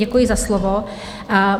Děkuji za slovo.